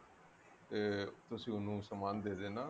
ਤੇ ਤੁਸੀਂ ਉਹਨੂੰ ਸਮਾਨ ਦੇ ਦੇਣਾ